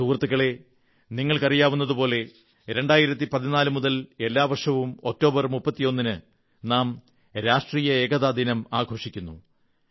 സുഹൃത്തുക്കളേ നിങ്ങൾക്കറിയാവുന്നതുപോലെ 2014 മുതൽ എല്ലാ വർഷവും ഒക്ടോബർ 31 ന് നാം രാഷ്ട്രീയ ഏകതാ ദിനം ആഘോഷിക്കുന്നു